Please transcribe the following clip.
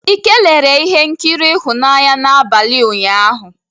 Ike lere ihe nkiri ịhụnanya n'abalị ụnyaahụ.